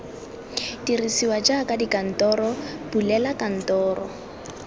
dirisiwa jaaka dikantoro bulela kantoro